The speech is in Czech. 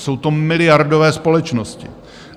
Jsou to miliardové společnosti.